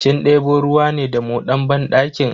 Kin debo ruwa ne da moɗan banɗakin?